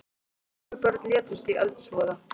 Fjögur börn létust í eldsvoða